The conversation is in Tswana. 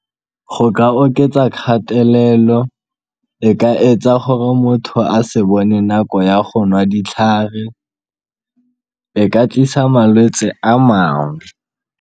Go ka oketsa kgatelelo, e ka etsa gore motho a se bone nako ya go nwa ditlhare, e ka tlisa malwetse a mangwe.